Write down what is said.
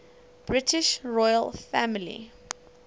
british royal family